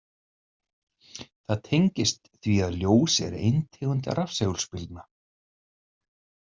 Það tengist því að ljós er ein tegund rafsegulbylgna.